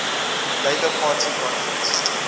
labour party conference